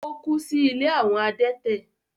Ó kú sí “ ilé àwọn adẹ́tẹ̀”.